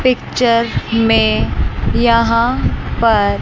picture में यहां पर--